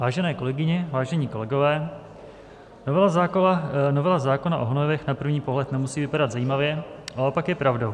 Vážené kolegyně, vážení kolegové, novela zákona o hnojivech na první pohled nemusí vypadat zajímavě, ale opak je pravdou.